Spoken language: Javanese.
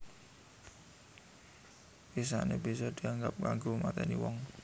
Wisané bisa dianggo kanggo matèni wong